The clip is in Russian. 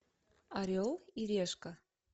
орел и решка